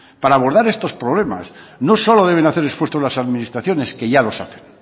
para abordar estos problemas no solo deben hacer esfuerzo las administraciones que ya los hacen